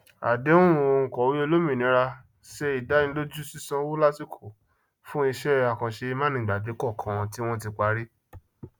àdéhùn òǹkọwé olómìnira sé ìdánilójú sìsanwó lásìkò fún iṣẹ àkànṣe mánigbàgbé kọọkan tí wọn tí parí